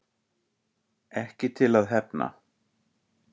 Ekki til að hefna